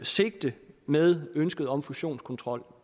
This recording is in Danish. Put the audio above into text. sigte med ønsket om fusionskontrol